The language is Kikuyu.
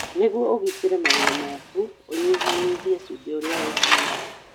Nĩguo ũgitĩre magego maku, ũnyihanyihie cumbĩ ũrĩa ũnyuaga.